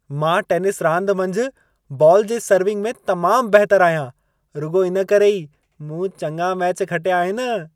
मां टेनिस रांदि मंझि, बॉल जे सर्विंग में तमामु बहितरु आहियां। रुॻो इनकरे ई, मूं चङा मैच खटिया आहिनि।